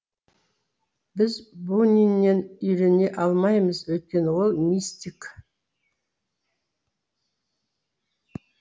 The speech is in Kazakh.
біз буниннен үйрене алмаймыз өйткені ол мистик